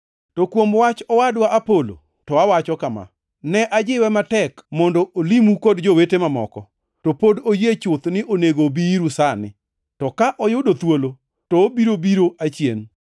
To kuom wach owadwa Apolo, to awacho kama: Ne ajiwe matek mondo olimu kod jowete mamoko, to pok oyie chuth ni onego obi iru sani, to ka oyudo thuolo, to obiro biro achien.